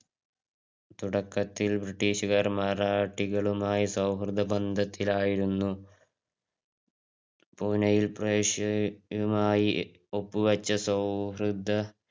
തുടക്കത്തിൽ British ക്കാർ മറാഠികളുമായി സൗഹൃദബന്ധത്തിലായിരുന്ന പൂനെയില് പേർഷ്യയുമായി ഒപ്പുവച്ച സൗഹൃദ